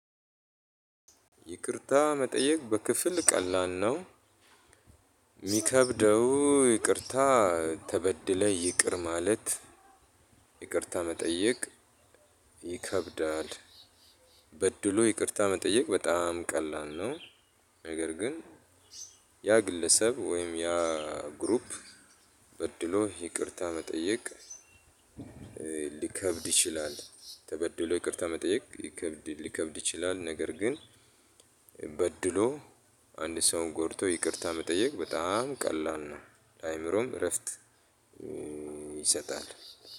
ይቅርታ መጠየቅ በክፍል ቀላል ነው። የሚከብደው ይቅርታ ተበድለህ ይቅር ማለት ይቅርታ መጠየቅ ይከብዳል። በድሎ ይቅርታ መጠየቅ በጣም ቀላል ነው። ነገር ግን ያ ግለሰብ ወይም ያ ግሩፕ በድሎህ ይቅርታ መጠየቅ። ሊከብድ ይችላል ተበድሎ ይቅርታ መጠየቅ ሊከብድ ሊከብድ ይችላል። ነገር ግን በድሎ አንድ ሰውን ጎድቶ ይቅርታ መጠየቅ በጣም ቀላል ነው። ለአእምሮም እረፍት ይሰጣል።